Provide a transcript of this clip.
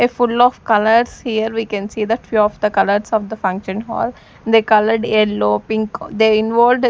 a full of colours here we can see the few of the colours of the function hall they coloured yellow pink they involved.